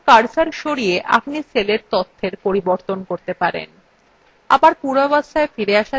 এখন প্রয়োজনমত cursor সরিয়ে আপনি cellএর তথ্যের পরিবর্তন করতে পারেন